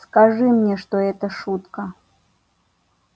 скажи мне что это шутка